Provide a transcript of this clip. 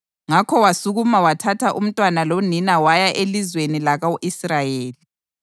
Ngakho wasukuma wathatha umntwana lonina waya elizweni lako-Israyeli.